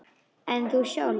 En þú sjálf?